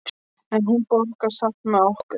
En hún borðaði samt með okkur.